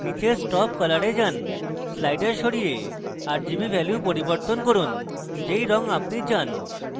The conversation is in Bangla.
নীচে stop color এ যান sliders সরিয়ে rgb ভ্যালু পরিবর্তন করুন যেই rgb আপনি চান